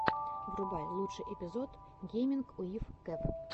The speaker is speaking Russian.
врубай лучший эпизод гейминг уив кев